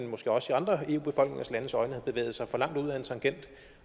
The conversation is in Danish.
måske også i andre eu landes befolkningers øjne har bevæget sig for langt ud ad en tangent